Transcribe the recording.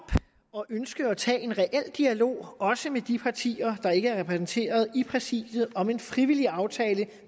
og ønsker at tage en reel dialog også med de partier der ikke er repræsenteret i præsidiet om en frivillig aftale